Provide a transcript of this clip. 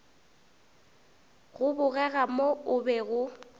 go bogega mo o bego